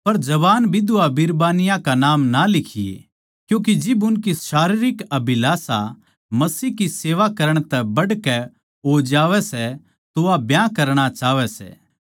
पर जवान बिधवायां कै नाम ना लिखिए क्यूँके जिब उनकी शारीरिक अभिलाषा परमेसवर की सेवा करण तै बढ़कै हो जावै सै तो वा ब्याह करणा चाहवैं सै